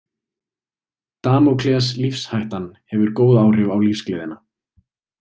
Damókles Lífshættan hefur góð áhrif á lífsgleðina.